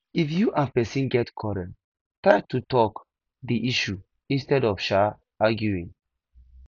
if you and person get quarrel try to talk di issue instead of um arguing